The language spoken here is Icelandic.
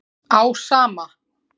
Á sama